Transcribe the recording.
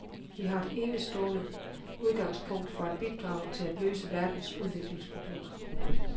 Vi har et enestående udgangspunkt for at bidrage til at løse verdens udviklingsproblemer.